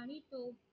आणि तो